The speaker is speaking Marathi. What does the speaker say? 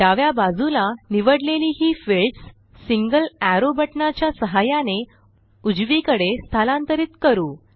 डाव्या बाजूला निवडलेली ही फिल्डस सिंगल एरो बटणाच्या सहाय्याने उजवीकडे स्थलांतरित करू